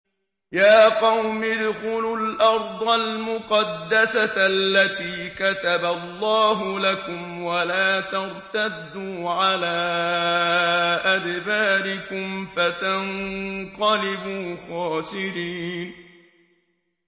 يَا قَوْمِ ادْخُلُوا الْأَرْضَ الْمُقَدَّسَةَ الَّتِي كَتَبَ اللَّهُ لَكُمْ وَلَا تَرْتَدُّوا عَلَىٰ أَدْبَارِكُمْ فَتَنقَلِبُوا خَاسِرِينَ